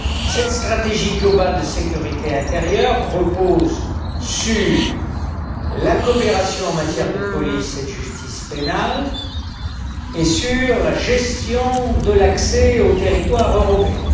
Cette stratégie globale de sécurité intérieure repose sur la coopération en matière de police et de justice pénale et sur la gestion de l'accès au territoire européen.